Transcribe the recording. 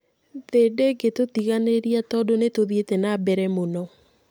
Thĩĩ ndĩngĩtũtiganĩria tondũ nĩtuthiĩte na mbere mũno